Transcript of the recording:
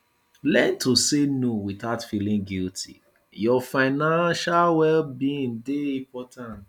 learn to say no without feeling guilty your financial well being dey important